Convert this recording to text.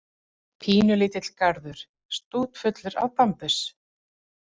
Pínulítill garður, stútfullur af bambus.